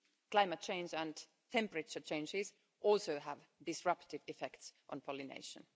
Climate change and temperature changes also have disruptive effects on pollination.